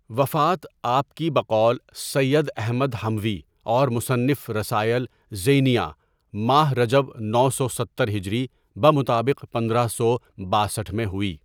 وفات آپ کی بقول سید احمد حموی اور مصنف رسائل زینیہ؍ماہ رجب نو سو ستر ہجری بمطابق پندرہ سو باسٹھ میں ہوئی.